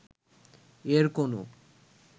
এর কোন